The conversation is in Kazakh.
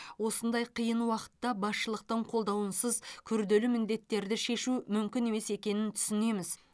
осындай қиын уақытта басшылықтың қолдауынсыз күрделі міндеттерді шешу мүмкін емес екенін түсінеміз